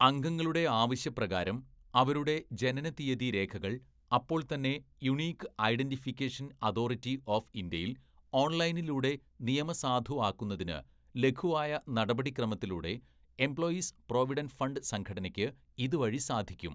"അംഗങ്ങളുടെ ആവശ്യപ്രകാരം, അവരുടെ ജനനതിയതി രേഖകള്‍ അപ്പോള്‍ തന്നെ യുണിക് ഐഡന്റിഫിക്കേഷന്‍ അതോറിറ്റി ഓഫ് ഇന്ത്യയില്‍ ഓണ്‍ലൈനിലൂടെ നിയമസാധുവാക്കുന്നതിന് ലഘുവായ നടപടിക്രമത്തിലൂടെ എംപ്ലോയിസ് പ്രോവിഡന്റ് ഫണ്ട് സംഘടനയ്ക്ക് ഇത് വഴി സാധിക്കും. "